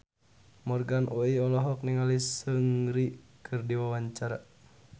Morgan Oey olohok ningali Seungri keur diwawancara